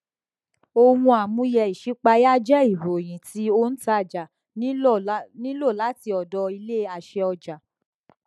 ohun àmúyẹ ìṣípayá jẹ ìròyìn tí ontàjà nílò láti ọdọ ilé àṣẹ ọjà